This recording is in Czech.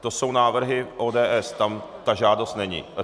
To jsou návrhy ODS, tam ta žádost není.